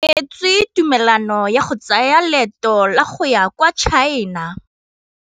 O neetswe tumalanô ya go tsaya loetô la go ya kwa China.